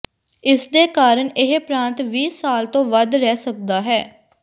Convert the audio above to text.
ਇਸਦੇ ਕਾਰਨ ਇਹ ਪ੍ਰਾਂਤ ਵੀਹ ਸਾਲ ਤੋਂ ਵੱਧ ਰਹਿ ਸਕਦਾ ਹੈ